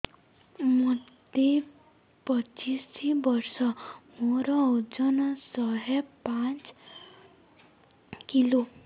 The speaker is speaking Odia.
ମୋତେ ପଚିଶି ବର୍ଷ ମୋର ଓଜନ ଶହେ ପାଞ୍ଚ କିଲୋ